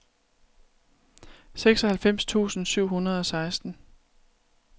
seksoghalvfems tusind syv hundrede og seksten